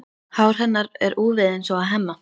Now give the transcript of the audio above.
Hár hennar er úfið eins og á Hemma.